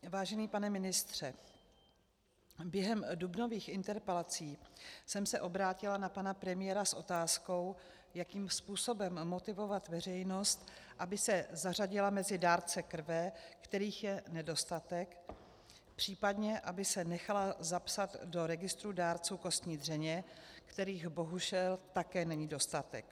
Vážený pane ministře, během dubnových interpelací jsem se obrátila na pana premiéra s otázkou, jakým způsobem motivovat veřejnost, aby se zařadila mezi dárce krve, kterých je nedostatek, případně aby se nechala zapsat do registru dárců kostní dřeně, kterých bohužel také není dostatek.